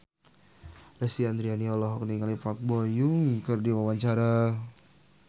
Lesti Andryani olohok ningali Park Bo Yung keur diwawancara